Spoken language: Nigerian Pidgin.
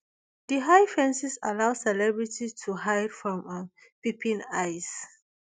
di high fences allow celebrities to hide from um peeping eyes